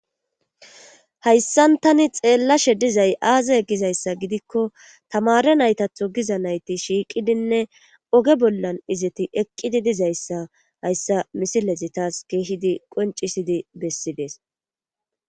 Hayssan tani xeellashe dizay aaza e gizayssa gidikko tamare naytatho giza nayti shiiqidinne oge bollan izeti eqqidi dizayssa hayssa misilezi taas keehidi qoncisidi bessidees